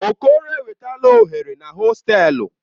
Okoro enwetala oghere na hostelu.